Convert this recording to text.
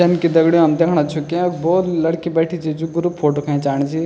जन की दगडियों हम दिखणा छो की य भौत लड़की बैंठी च जू ग्रुप फोटो खैचाणीं च।